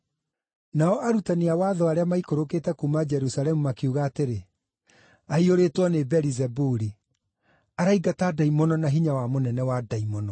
Nao arutani a watho arĩa maikũrũkĩte kuuma Jerusalemu makiuga atĩrĩ, “Aiyũrĩtwo nĩ Beelizebuli! Araingata ndaimono na hinya wa mũnene wa ndaimono.”